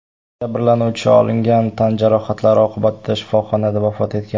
Jabrlanuvchi olingan tan jarohatlari oqibatida shifoxonada vafot etgan.